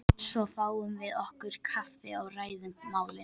Svo fáum við okkur kaffi og ræðum málin.